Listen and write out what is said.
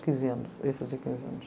Quinze anos, eu ia fazer quinze anos.